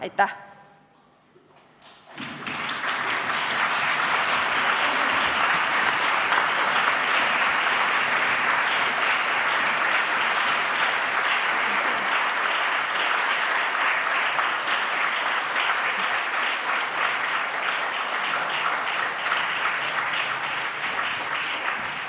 Aitäh!